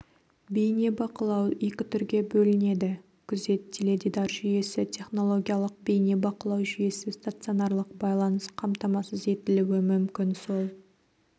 бейнебақылау екі түрге бөлінеді күзет теледидар жүйесі технологиялық бейнебақылау жүйесі стационарлық байланыс қамтамасыз етілуі мүмкін сол